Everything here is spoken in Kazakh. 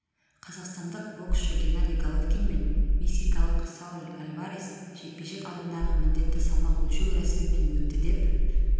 қазақстандық боксшы геннадий головкин мен мексикалық сауль альварес жекпе-жек алдындағы міндетті салмақ өлшеу рәсімінен өтті деп